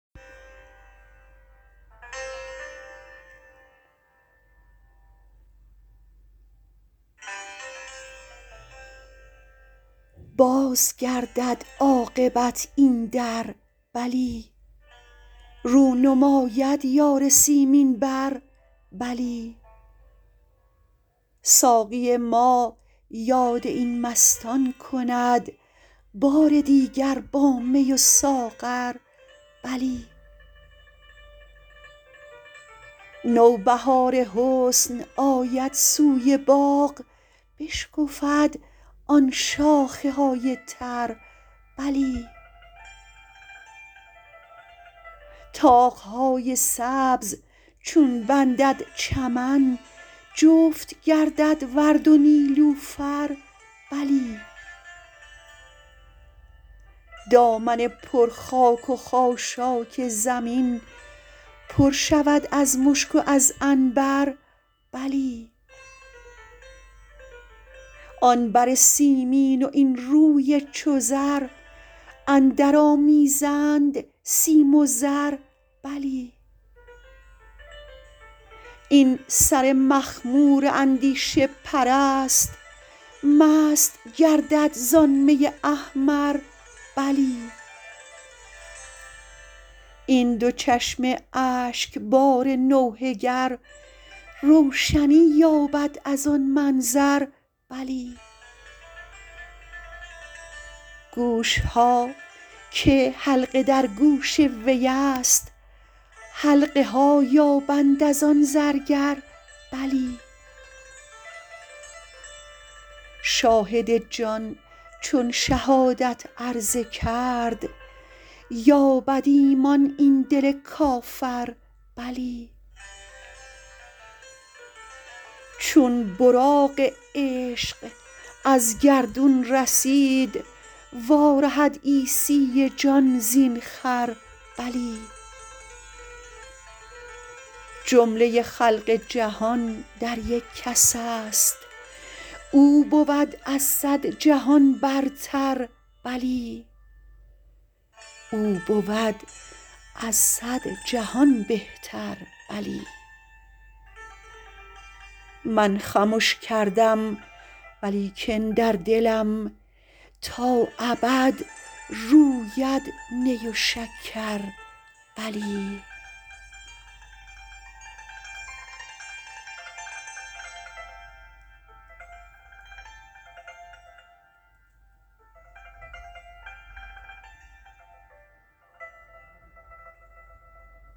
باز گردد عاقبت این در بلی رو نماید یار سیمین بر بلی ساقی ما یاد این مستان کند بار دیگر با می و ساغر بلی نوبهار حسن آید سوی باغ بشکفد آن شاخه های تر بلی طاق های سبز چون بندد چمن جفت گردد ورد و نیلوفر بلی دامن پر خاک و خاشاک زمین پر شود از مشک و از عنبر بلی آن بر سیمین و این روی چو زر اندرآمیزند سیم و زر بلی این سر مخمور اندیشه پرست مست گردد زان می احمر بلی این دو چشم اشکبار نوحه گر روشنی یابد از آن منظر بلی گوش ها که حلقه در گوش وی است حلقه ها یابند از آن زرگر بلی شاهد جان چون شهادت عرضه کرد یابد ایمان این دل کافر بلی چون براق عشق از گردون رسید وارهد عیسی جان زین خر بلی جمله خلق جهان در یک کس است او بود از صد جهان بهتر بلی من خمش کردم و لیکن در دلم تا ابد روید نی و شکر بلی